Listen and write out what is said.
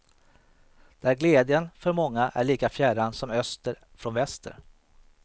Där glädjen för många är lika fjärran som öster från väster.